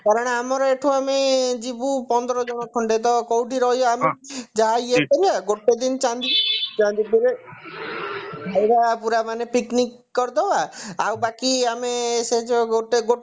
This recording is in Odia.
କାରଣ ଆମର ଏଠୁ ଆମେ ଯିବୁ ପନ୍ଦର ଜଣ ଖଣ୍ଡେ ତ କଉଠି ରହିବା ଆମେ କିଛି ଜା ଇଏ ପାରିନା ତ ଗୋଟେ ଦିନ ଚାନ୍ଦିପୁର ଚାନ୍ଦିପୁରରେ ଖାଇବା ପୁରା ମାନେ picnic କରିଦବା ଆଉ ବାକି ଆମେ ସେ ଯାଉ ଗୋଟେ